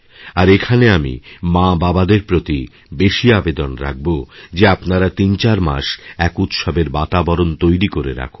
আর এখানে আমি মাবাবাদের প্রতি বেশি আবেদন রাখব যে আপনারা তিনচারমাস এক উৎসবের বাতাবরণ তৈরি করে রাখুন